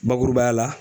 Bakurubaya la